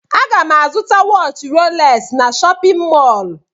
Aga m azụta waatchi rolex n'shóppin mol.